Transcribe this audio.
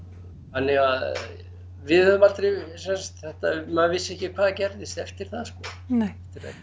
þannig að við höfum aldrei sem sagt þetta maður vissi ekki hvað gerðist eftir það sko nei